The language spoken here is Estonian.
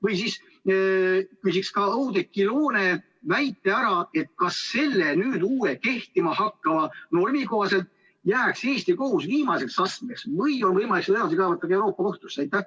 Või siis küsiks ka Oudekki Loone väite põhjal, kas selle uue, kehtima hakkava normi järgi jääks Eesti kohus viimaseks astmeks või on võimalik seda edasi kaevata ka Euroopa Kohtusse?